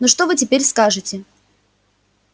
ну что вы теперь скажете